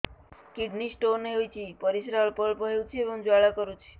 kidney stone ହୋଇଛି ପରିସ୍ରା ଅଳ୍ପ ଅଳ୍ପ ହେଉଛି ଏବଂ ଜ୍ୱାଳା କରୁଛି